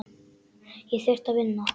Ég þurfti að vinna.